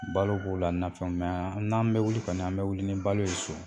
Balo k'o la nafɛnw n'an bɛ wuli kɔni an bɛ wuli ni balo ye so